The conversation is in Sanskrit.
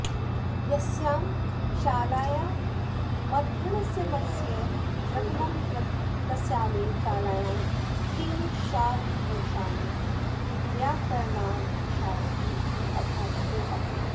यस्यां शालायामध्य्यनमस्य प्रथमं कृतं तस्यामेव शालायां त्रिंशाद्वर्षाणि व्याकरणादिशास्त्रेषु अध्यापकोऽभूत्